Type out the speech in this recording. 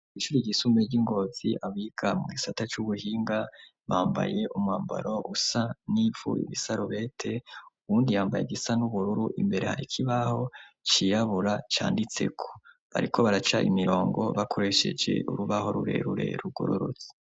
Ishure ryisumbuye ry'ingozi abiga mu isata cy'ubuhinga bambaye umwambaro usa nifu bisarobete uwundi yambaye gisa n'ubururu imbere harkibaho ciyabura cyanditseko bariko baraca imirongo bakoresheje urubaho rurerure rugororotse.